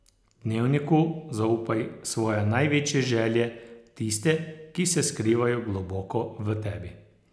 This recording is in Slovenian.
Dnevniku zaupaj svoje največje želje, tiste, ki se skrivajo globoko v tebi.